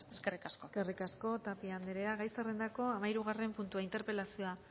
eskerrik asko eskerrik asko tapia anderea gai zerrendako hamahirugarren puntua interpelazioa